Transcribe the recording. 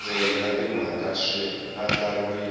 vundzeni na timhaka swi andlariwile